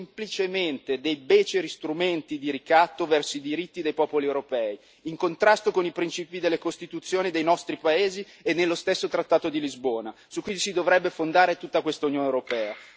Sono semplicemente dei beceri strumenti di ricatto verso i diritti dei popoli europei, in contrasto con i principi delle Costituzioni dei nostri paesi e nello stesso trattato di Lisbona su cui si dovrebbe fondare tutta questa Unione europea.